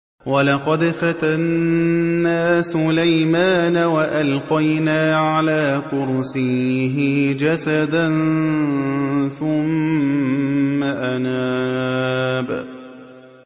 وَلَقَدْ فَتَنَّا سُلَيْمَانَ وَأَلْقَيْنَا عَلَىٰ كُرْسِيِّهِ جَسَدًا ثُمَّ أَنَابَ